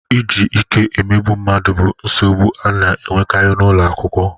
Iji ike emegbu mmadụ bụ nsogbu a na-enwekarị n'ụlọ akwụkwọ